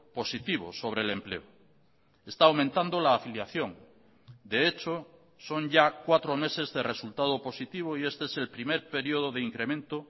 positivo sobre el empleo está aumentando la afiliación de hecho son ya cuatro meses de resultado positivo y este es el primer periodo de incremento